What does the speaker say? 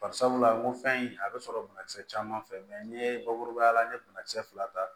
Bari sabula ko fɛn in a bɛ sɔrɔ banakisɛ caman fɛ n ye bakurubaya la n ye banakisɛ fila ta